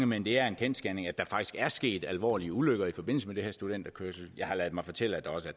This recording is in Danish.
men det er en kendsgerning at der faktisk er sket alvorlige ulykker i forbindelse med det her studenterkørsel jeg har ladet mig fortælle at der også har